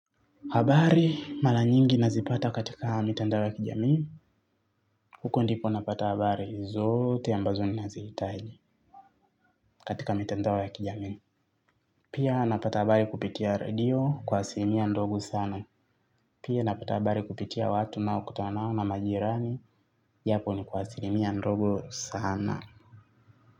Habari mala nyingi nazipata katika mitandao ya kijamii, huko ndipo napata habari zote ambazo ninazihitaji katika mitandao ya kijamii. Pia napata habari kupitia radio kwa asilimia ndogo sana. Pia napata habari kupitia watu naokutanao na majirani japo ni kwa asilimia ndogo sana.